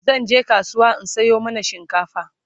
zanje kasuwa in Sayo mana shinkafa